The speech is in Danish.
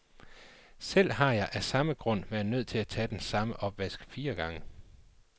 Selv har jeg af samme grund været nødt til at tage den samme opvask fire gange.